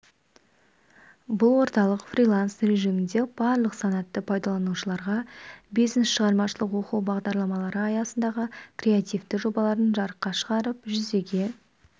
бұл орталық фриланс режимінде барлық санаттағы пайдаланушыларға бизнес шығармашылық оқу бағдарламалары аясындағы креативті жобаларын жарыққа шығарып жүзеге